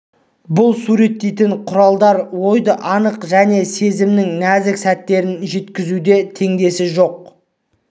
бұл суреттейтін құралдар ойды анық және сезімнің нәзік сәттерін жеткізуде теңдесі жоқ